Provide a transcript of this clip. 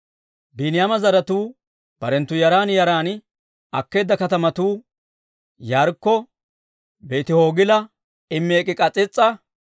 Biiniyaama zaratuu barenttu yaran yaran akkeedda katamatuu Yaarikko, Beeti-Hoogila, Emek'i-K'as'iis'a,